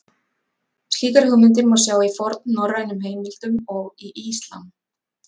Slíkar hugmyndir má sjá í fornnorrænum heimildum og í Íslam.